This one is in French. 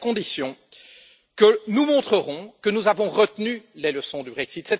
C'est à ces conditions que nous montrerons que nous avons retenu les leçons du Brexit.